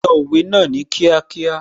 Sọ òwe náà ní kíákíá